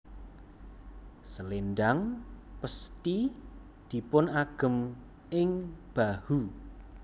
Selendhang pesthi dipun agem ing bahu